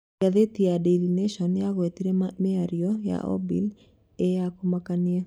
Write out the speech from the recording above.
Ngathĩti ya Dairy National yagũetire mĩario ya Obil ĩya 'kũmakania'.